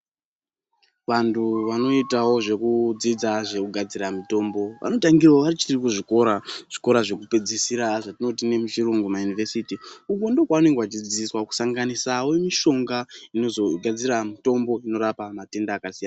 Vantu vanoitawo zvekudzidza zvekugadzira mutombo vanotangirawo vachirikuzvikora, zvikora zvekupedzisira zvatinoti nemuchirungu mayunivhesiti uko ndiko kwavanenge vachidzidziswa kusanginisawo mishonga inozogadzira mitombo inorapa matenda akasiyana.